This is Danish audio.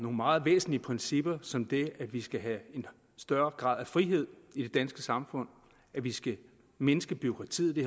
nogle meget væsentlige principper som det at vi skal have en større grad af frihed i det danske samfund at vi skal mindske bureaukratiet